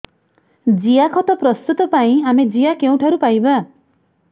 ଜିଆଖତ ପ୍ରସ୍ତୁତ ପାଇଁ ଆମେ ଜିଆ କେଉଁଠାରୁ ପାଈବା